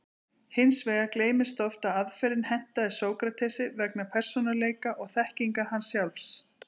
Hins vegar gleymist oft að aðferðin hentaði Sókratesi vegna persónuleika og þekkingar hans sjálfs.